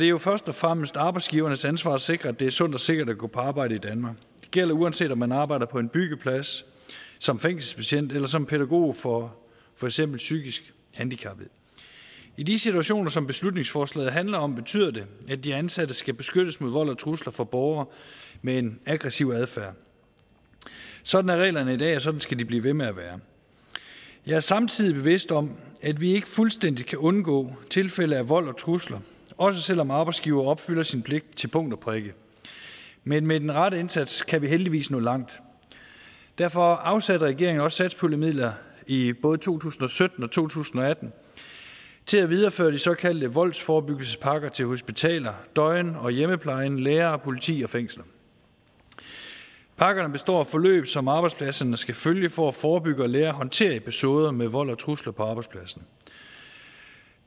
jo først og fremmest arbejdsgivernes ansvar at sikre at det er sundt og sikkert at gå på arbejde i danmark det gælder uanset om man arbejder på en byggeplads som fængselsbetjent eller som pædagog for for eksempel psykisk handicappede i de situationer som beslutningsforslaget handler om betyder det at de ansatte skal beskyttes mod vold og trusler fra borgere med en aggressiv adfærd sådan er reglerne i dag og sådan skal de blive ved med at være jeg er samtidig bevidst om at vi ikke fuldstændig kan undgå tilfælde af vold og trusler også selv om arbejdsgiver opfylder sin pligt til punkt og prikke men med den rette indsats kan vi heldigvis nå langt derfor afsatte regeringen også satspuljemidler i både to tusind og sytten og to tusind og atten til at videreføre de såkaldte voldsforebyggelsespakker til hospitaler døgn og hjemmeplejen læger politi og fængsler pakkerne består af forløb som arbejdspladserne skal følge for at forebygge og lære at håndtere episoder med vold og trusler på arbejdspladsen